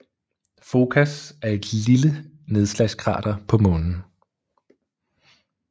Focas er et lille nedslagskrater på Månen